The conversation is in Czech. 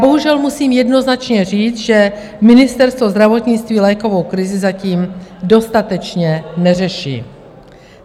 Bohužel musím jednoznačně říct, že Ministerstvo zdravotnictví lékovou krizi zatím dostatečně neřeší.